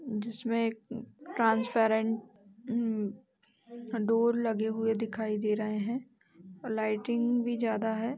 जिसमें ट्रांसपेरेंट इम्म डोर लगे हुए दिखाई दे रहे हैं और लाइटिंग भी ज्यादा हैं।